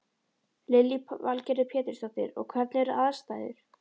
Lillý Valgerður Pétursdóttir: Og hvernig eru aðstæður?